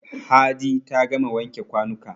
Hadi ta gama wanke kwanuka.